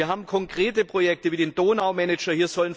Wir haben konkrete Projekte wie den Donau Manager.